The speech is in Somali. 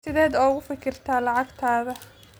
Sideed uga fikirtaa lacagtaada?